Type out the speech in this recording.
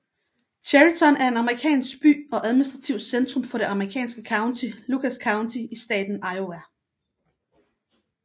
Chariton er en amerikansk by og administrativt centrum for det amerikanske county Lucas County i staten Iowa